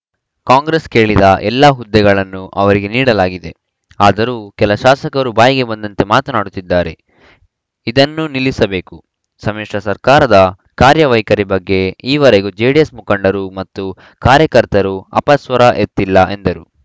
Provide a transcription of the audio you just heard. ಕಾಂಗ್ರೆಸ್‌ ಕೇಳಿದ ಎಲ್ಲ ಹುದ್ದೆಗಳನ್ನೂ ಅವರಿಗೆ ನೀಡಲಾಗಿದೆ ಆದರೂ ಕೆಲ ಶಾಸಕರು ಬಾಯಿಗೆ ಬಂದಂತೆ ಮಾತನಾಡುತ್ತಿದ್ದಾರೆ ಇದನ್ನು ನಿಲ್ಲಿಸಬೇಕು ಸಮಿಶ್ರ ಸರ್ಕಾರದ ಕಾರ್ಯವೈಖರಿ ಬಗ್ಗೆ ಈವರೆಗೂ ಜೆಡಿಎಸ್‌ ಮುಖಂಡರು ಮತ್ತು ಕಾರ್ಯಕರ್ತರು ಅಪಸ್ವರ ಎತ್ತಿಲ್ಲ ಎಂದರು